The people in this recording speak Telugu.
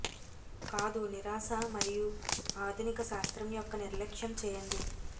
కాదు నిరాశ మరియు ఆధునిక శాస్త్రం యొక్క నిర్లక్ష్యం చేయండి